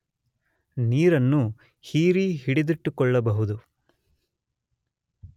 ನೀರನ್ನು ಹೀರಿ ಹಿಡಿದಿಟ್ಟುಕೊಳ್ಳಲೂ ಬಹುದು